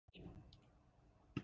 En það gekk sem sagt mjög vel.